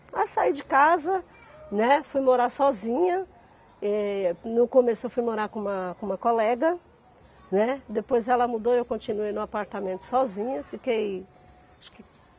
Aí eu saí de casa, né, fui morar sozinha, eh, no começo eu fui morar com uma com uma colega, né, depois ela mudou e eu continuei no apartamento sozinha, fiquei acho que